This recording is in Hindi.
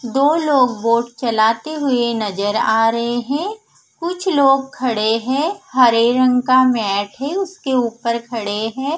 दो लोग बोट चलाते हुए नजर आ रहे हैं कुछ लोग खड़े हैं हरे रंग का मैट है उसके ऊपर खड़े हैं।